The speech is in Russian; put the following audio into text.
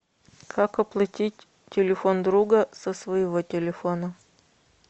как оплатить телефон друга со своего телефона